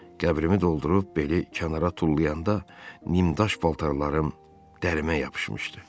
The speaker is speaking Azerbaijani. Qəbrimi doldurub beli kənara tullayanda nimdaş paltarlarım dərimə yapışmışdı.